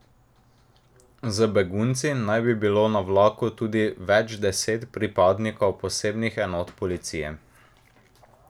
Z begunci naj bi bilo na vlaku tudi več deset pripadnikov posebnih enot policije.